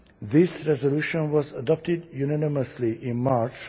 This resolution was adopted unanimously in March.